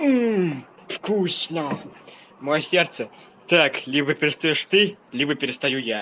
вкусно моё сердце так либо перестаёшь ты либо перестаю я